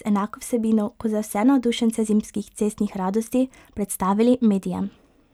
z enako vsebino kot za vse navdušence zimskih cestnih radosti, predstavili medijem.